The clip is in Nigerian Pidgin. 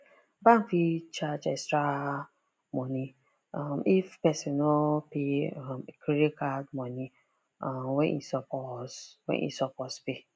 bank fit charge extra money um if person no pay um e credit card money um when e suppose when e suppose pay